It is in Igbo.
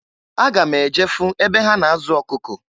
Aga m eje fụ ebe ha na-azụ ọkụkụ.